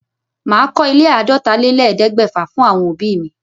Màá kọ ilé àádọ́tálélẹ́ẹ̀ẹ́dẹ́gbẹ́fà fún àwọn òbí mi.